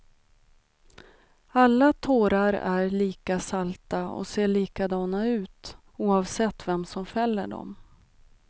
Alla tårar är lika salta och ser likadana ut oavsett vem som fäller dem.